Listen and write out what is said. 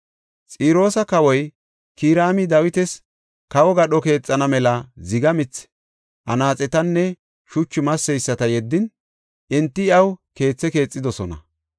Xiroosa kawoy Kiraami Dawitas kawo gadho keexana mela ziga mithi, anaaxetanne shuchu masseyisata yeddin, enti iyaw keethe keexidosona.